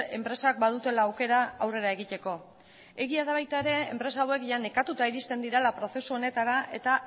enpresak badutela aukera aurrera egiteko egia da baita ere enpresa hauek nekatuta iristen direla prozesu honetara eta